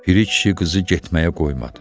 Piri kişi qızı getməyə qoymadı.